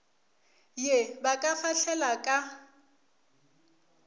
ye ba ka fahlela ka